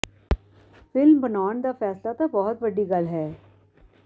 film ਬਣਾਉਣ ਦਾ ਫ਼ੈਸਲਾ ਤਾਂ ਬਹੁਤ ਵੱਡੀ ਗੱਲ ਹੈ